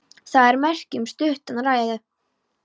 Það er merki um stutta ræðu.